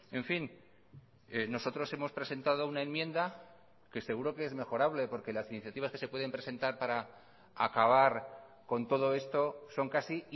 en fin nosotros hemos presentado una enmienda que seguro que es mejorable porque las iniciativas que se pueden presentar para acabar con todo esto son casi